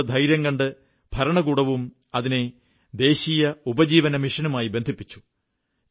കർഷകരുടെ ധൈര്യം കണ്ട് ഭരണകൂടവും അതിനെ ദേശീയ ഉപജീവനമിഷനുമായി ബന്ധിപ്പിച്ചു